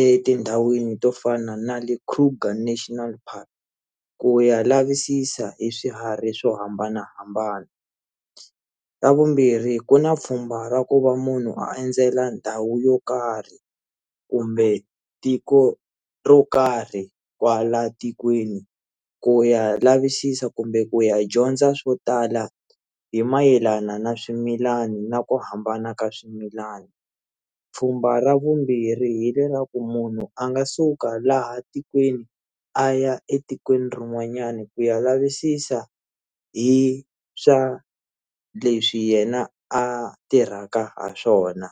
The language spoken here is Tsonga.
etindhawini to fana na le Kruger National Park ku ya lavisisa hi swiharhi swo hambanahambana xa vumbirhi ku na pfhumba ra ku va munhu a endzela ndhawu yo karhi kumbe tiko ro karhi kwala tikweni ku ya lavisisa kumbe ku ya dyondza swo tala hi mayelana na swimilani na ku hambana ka swimilani pfhumba ra vumbirhi hi leraku munhu a nga suka laha tikweni a ya etikweni rin'wanyani ku ya lavisisa hi swa leswi yena a tirhaka ha swona.